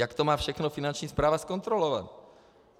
Jak to má všechno Finanční správa zkontrolovat?